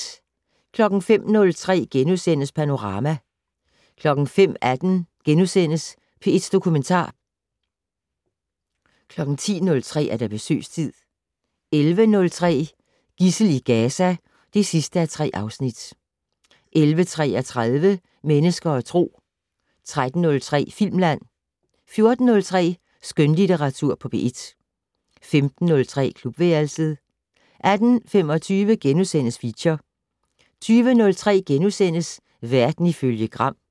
05:03: Panorama * 05:18: P1 Dokumentar * 10:03: Besøgstid 11:03: Gidsel i Gaza (3:3) 11:33: Mennesker og Tro 13:03: Filmland 14:03: Skønlitteratur på P1 15:03: Klubværelset 18:25: Feature * 20:03: Verden ifølge Gram *